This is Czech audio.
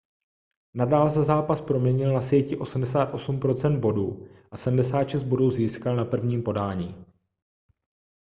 nadal za zápas proměnil na síti 88 % bodů a 76 bodů získal na první podání